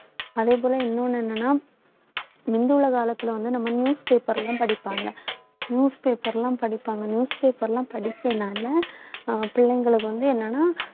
அதே போல இன்னொன்னு என்னன்னா முந்தி உள்ள காலத்துல வந்து நம்ம newspaper லயும் படிப்பாங்க newspaper லாம் படிப்பாங்க newspaper லாம் படிச்சேன் நானு அஹ் பிள்ளைங்களுக்கு வந்து என்னன்னா